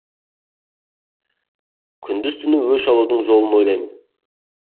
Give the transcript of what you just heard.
күндіз түні өш алудың жолын ойлаймын